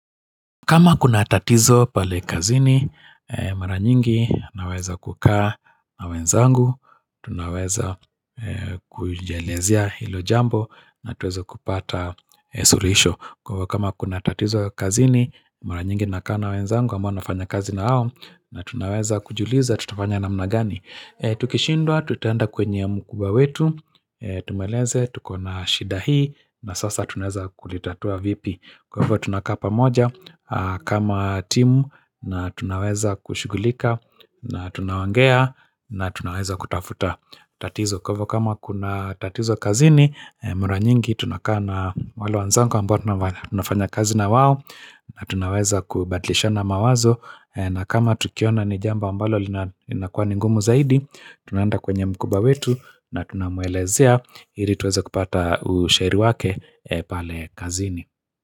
Kama kuna tatizo pale kazini, mara nyingi naweza kukaa na wenzangu, tunaweza kujielezea hilo jambo na tueze kupata suluhisho. Kwa kama kuna tatizo kazini, mara nyingi na kaa na wenzangu, ambao nafanya kazina nao, na tunaweza kujuliza, tutafanya namna gani. Tukishindwa, tutaenda kwenye mkubwa wetu, tumweleze, tuko na shida hii, na sasa tunaeza kulitatua vipi. Kwa hivyo tunakaa pamoja kama timu na tunaweza kushughulika na tunaongea na tunaweza kutafuta tatizo Kwa hivyo kama kuna tatizo kazini, mara nyingi tunakaa na wale wanzangu amboa tunafanya kazi na wao na tunaweza kubadilishana mawazo na kama tukiona nijambo ambalo linakua ningumu zaidi tuna enda kwenye mkubwa wetu na tunamuelezea ili tuweza kupata usheri wake pale kazini.